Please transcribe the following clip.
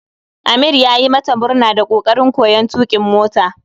Amir yayi mata murna da kokarin koyon tukin mota